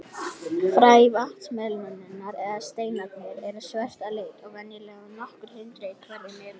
Fræ vatnsmelónunnar, eða steinarnir, eru svört að lit og venjulega nokkur hundruð í hverri melónu.